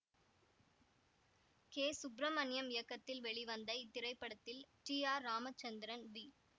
K Subramaniam இயக்கத்தில் வெளிவந்த இத்திரைப்படத்தில் டி ஆர் ராமச்சந்திரன் வி